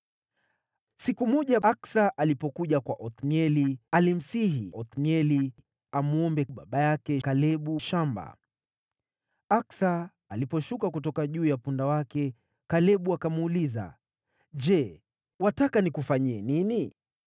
Siku moja Aksa alipokuja kwa Othnieli, alimsihi Othnieli amwombe baba yake, Kalebu, shamba. Aksa aliposhuka kutoka juu ya punda wake, Kalebu akamuuliza, “Je, wataka nikufanyie nini?”